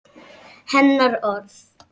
Hennar orð.